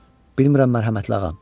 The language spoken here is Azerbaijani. Bilmirəm mərhəmətli ağam.